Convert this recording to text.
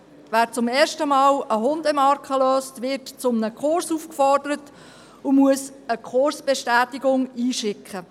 Wer zum ersten Mal eine Hundemarke löst, wird zu einem Kurs aufgefordert und muss eine Kursbestätigung einschicken.